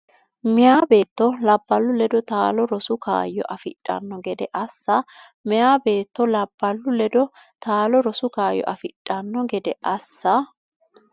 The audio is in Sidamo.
Meyaa beetto labballu ledo taalo rosu kaayyo afidhanno gede assa Meyaa beetto labballu ledo taalo rosu kaayyo afidhanno gede assa.